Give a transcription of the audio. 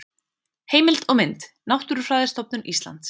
Heimild og mynd: Náttúrufræðistofnun Íslands